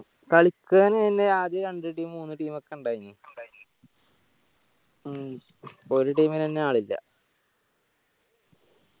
കളിക്കാന് അതെന്നെ ആദ്യം രണ്ട്‌ team മൂന്ന team ഒക്കെ ഇണ്ടായിന് ഇപ്പൊ ഒരു team ഇനെന്നെ ആളില്ല